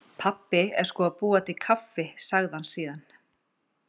Pabbi er sko að búa til kaffi, sagði hann síðan.